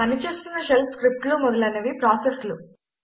పనిచేస్తున్న షెల్ స్క్రిప్టులు మొదలైనవి ప్రాసెస్లు